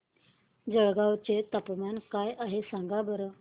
जळगाव चे तापमान काय आहे सांगा बरं